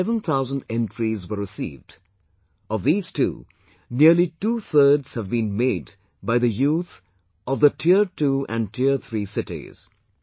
Around 7 thousand entries were received; of these too, nearly two thirds have been made by the youth of tier two and tier three cities